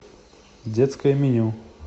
детское меню